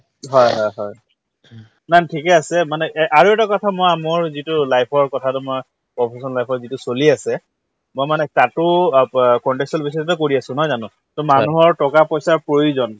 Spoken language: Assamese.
হয় হয় হয় ঠিকে আছে মানে এ আৰু এটা কথা ময়া‍‍ মোৰ যিটো life ৰ কথা তোমাৰ professional life ত যিটো চলি আছে মই মানে তাতো অ প contextual basis তে কৰি আছো নহয় জানো to মানুহৰ টকা পইচাৰ প্ৰয়োজন